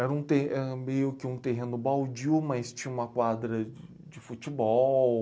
Era um terre, era meio que um terreno baldio, mas tinha uma quadra de futebol.